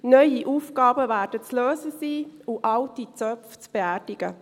Neue Aufgaben werden zu lösen sein und alte Zöpfe zu beerdigen.